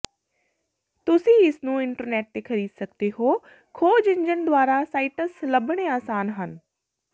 ਤੁਸੀਂ ਇਸ ਨੂੰ ਇੰਟਰਨੈਟ ਤੇ ਖਰੀਦ ਸਕਦੇ ਹੋ ਖੋਜ ਇੰਜਣ ਦੁਆਰਾ ਸਾਈਟਸ ਲੱਭਣੇ ਆਸਾਨ ਹਨ